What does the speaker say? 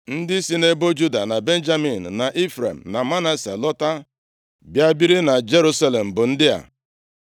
Ndị si nʼebo Juda, na Benjamin, na Ifrem na Manase lọta bịa biri na Jerusalem bụ ndị a: